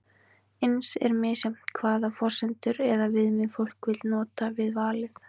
eins er misjafnt hvaða forsendur eða viðmið fólk vill nota við valið